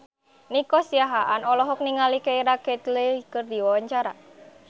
Nico Siahaan olohok ningali Keira Knightley keur diwawancara